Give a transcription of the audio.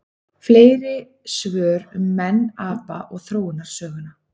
Fleiri svör um menn, apa og þróunarsöguna: